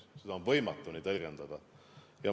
Seda on võimatu nii tõlgendada.